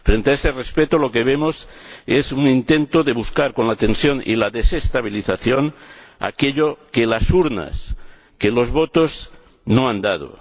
Frente a ese respeto, lo que vemos es un intento de buscar, con la tensión y la desestabilización, aquello que las urnas, que los votos, no han dado.